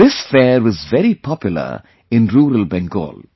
This fair is very popular in rural Bengal